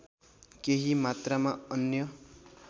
केही मात्रामा अन्य